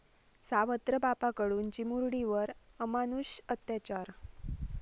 सावत्र बापाकडून चिमुरडीवर अमानुष अत्याचार